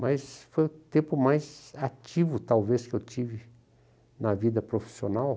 Mas foi o tempo mais ativo, talvez, que eu tive na vida profissional.